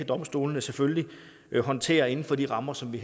domstolene selvfølgelig kan håndtere det inden for de rammer som vi